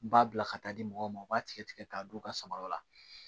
B'a bila ka taa di mɔgɔw ma u b'a tigɛ tigɛ k'a don u ka samaraw la